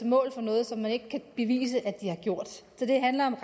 mål for noget som man ikke kan bevise at de har gjort så det handler om